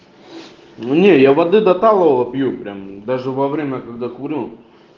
не я воды до талого пью прям даже во время когда курю